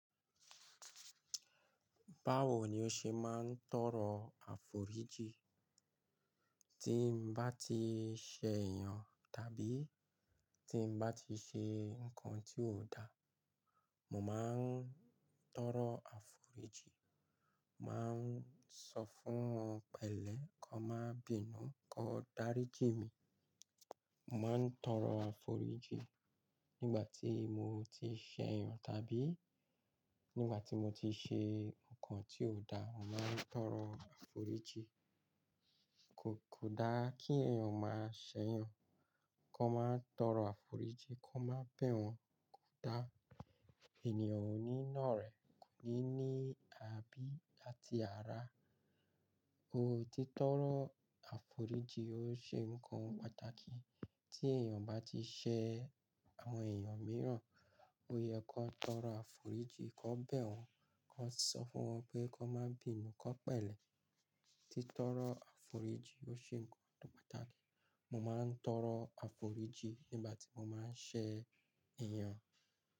Báwo ni o ṣe máa ń tọrọ aforijin? Tí mo bá ti ṣẹ èèyàn, tàbí tí n bá ti ṣe nǹkan tí ò da, mo máa ń tọrọ aforijin. Mo máa ń sọ fún wọn pẹ̀lẹ́ kó máa bínú, kó dáríjì mí. Mo máa ń tọrọ àforíjì nígbà tí mo ti ṣẹ́ èèyàn, tàbí nígbà tí mo ti ṣe nǹkan tí ò da. Mo máa ń tọrọ àforíjì. Kò, kò dá kí èèyàn máa ṣẹ́ èèyàn, kó máa tọrọ àforíjì, kó má bẹ̀ wọ́n kò da. Ènìyàn oní náa rẹ̀ ní ní kàbí àti ara. Ó ti tọrọ àforíjì ó ṣe nǹkan pàtàkì. Tí èèyàn bá ti ṣẹ àwọn èèyàn mìíràn, ó yẹ kó tọrọ àforíjì, kó bẹ̀ wọ́n, kó sọ fún wọn pé kó máa bínú, kó pẹ̀lẹ́. Tí tọrọ àforíjì ó ṣe nǹkan pàtàkì. Mo máa ń tọrọ àforíjì nígbà tí mo máa ń ṣẹ́ èèyàn.